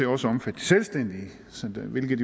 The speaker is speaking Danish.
også omfatter de selvstændige hvilket